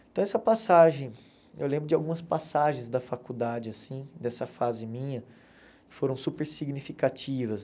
Então essa passagem, eu lembro de algumas passagens da faculdade assim, dessa fase minha, foram super significativas.